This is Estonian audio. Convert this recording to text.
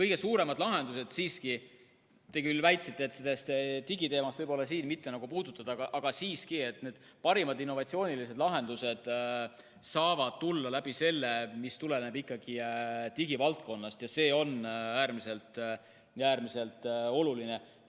Te küll mainisite, et seda digiteemat võiks siin mitte puudutada, aga siiski, parimad innovaatilised lahendused saavad tuleneda ikkagi digivaldkonnast, ja see on äärmiselt oluline.